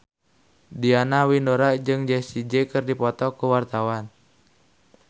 Diana Widoera jeung Jessie J keur dipoto ku wartawan